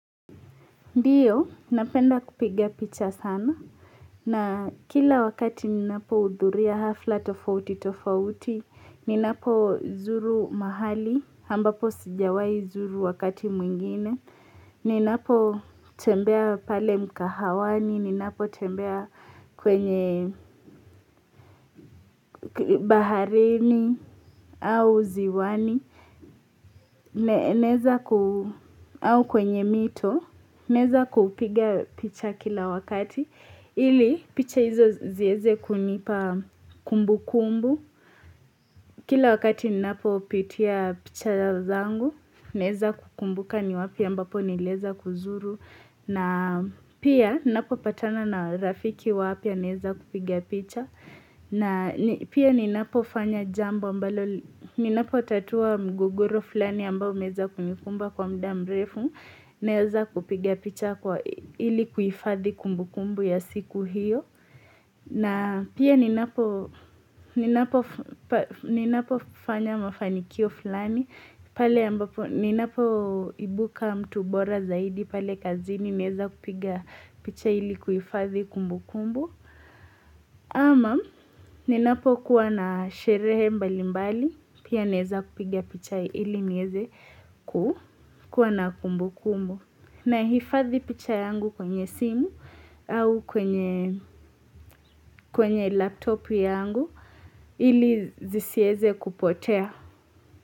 Ndiyo, napenda kupiga picha sana, na kila wakati minapohudhuria hafla tofauti tofauti, minapozuru mahali, ambapo sijawai zuru wakati mwingine, ninapo tembea pale mkahawani, ninapo tembea kwenye baharini au ziwani au kwenye mito naweza kupiga picha kila wakati ili picha hizo ziweze kunipa kumbukumbu Kila wakati ninapo pitia picha zangu Naweza kukumbuka ni wapi ambapo niliweza kuzuru na pia ninapopatana na rafiki wapya naweza kupiga picha na pia ninapofanya ninapotatua mgogoro fulani ambao umeweza kunikumba kwa muda mrefu naweza kupiga picha ili kuhifadhi kumbukumbu ya siku hiyo na pia ninapofanya mafanikio fulani pale ninapoibuka mtu bora zaidi pale kazini naweza kupiga picha ili kuhifadhi kumbukumbu ama ninapokuwa na sherehe mbalimbali pia naweza kupiga picha ili miweze kuwa na kumbukumbu. Nahifadhi picha yangu kwenye simu au kwenye laptop yangu ili zisiweze kupotea.